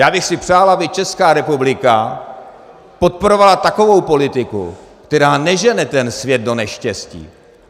Já bych si přál, aby Česká republika podporovala takovou politiku, která nežene ten svět do neštěstí.